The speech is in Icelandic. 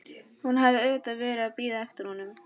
Hún hafði auðvitað verið að bíða eftir honum.